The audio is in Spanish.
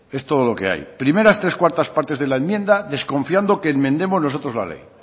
esto todo lo que hay primeras tres cuartas partes de la enmienda desconfiando que enmendemos nosotros la ley